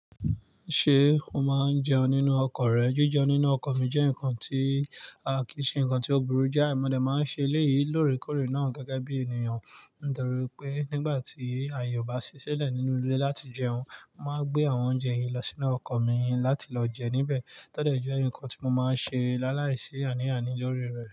Ṣé o máa ń jẹun nínú ọkọ̀ rẹ? Jíjẹun nínú ọkọ̀ mi jẹ́ nǹkan tí, a kì í ṣe nǹkan tí ó burú jáì, mo dẹ̀ máa ń ṣe eléyìí lóòrèkóòrè náà gẹ́gẹ́ bí ènìyàn. Nítorí pé nígbà tí ààyè ò bá ti ṣí sílẹ̀ nínú ilé láti jẹun, mo máa ń gbé àwọn oúnjẹ yìí lọ sínú ọkọ̀ mi láti lọ jẹ níbẹ̀. Tọ́ dẹ̀ jẹ́ nǹkan tí mo máa ń ṣe láìláì sí àní-àní lórí rẹ̀.